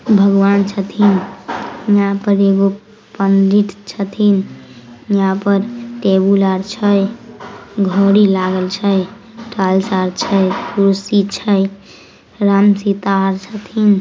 भगवान छथीन हिया पर एगो पंडित छथीन हिया पर टेबुल आर छै घड़ी लागल छै टाइल्स आर छै कुर्सी छै राम-सीता आर छथिन।